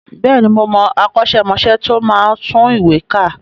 Bẹ́ẹ̀ni, mo mọ akọ́ṣẹ́mọṣẹ́ tí ó máa ń tún ìwé kà